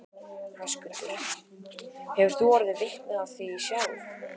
Höskuldur: Hefur þú orðið vitni af því sjálf?